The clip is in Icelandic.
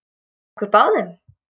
Okkur báðum?